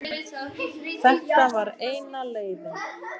En þetta var eina leiðin.